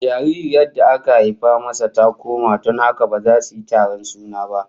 Jaririyar da aka haifa masa ta koma, don haka ba za su yi taron suna ba